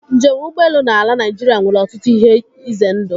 Njem ụgbọelu na ala Naịjirịa nwere ọtụtụ ihe ize ndụ.